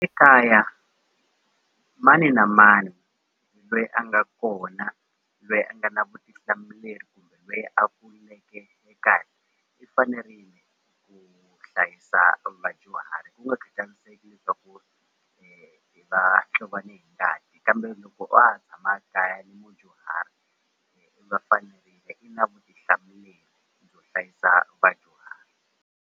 Ekaya mani na mani lweyi a nga kona lweyi a nga na vutihlamuleri kumbe lweyi a kuleke ekaya i fanerile ku hlayisa vadyuhari ku nga khatariseki swa ku va ni hi ngati kambe loko wa ha tshama kaya ni mudyuhari va fanerile i na vutihlamuleri byo hlayisa vadyuhari.